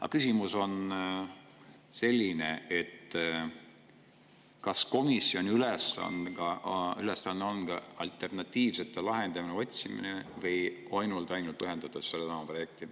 Aga küsimus on selline: kas komisjoni ülesanne on ka alternatiivsete lahenduste otsimine?